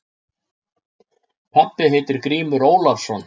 Pabbi heitir Grímur Ólafsson.